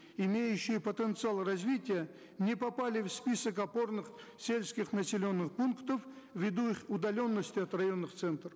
имеющие потенциал развития не попали в список опорных сельских населенных пунктов в виду их удаленности от районных центров